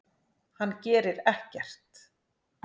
Hann gerir ekkert!